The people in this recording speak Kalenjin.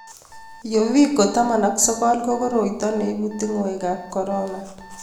Uviko19 ko koroito ne ibu tongoikab korona